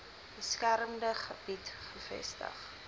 beskermde gebied gevestig